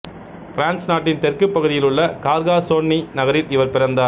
France நாட்டின் தெற்கு பகுதியிலுள்ள கார்காசோன்னி நகரில் இவர் பிறந்தார்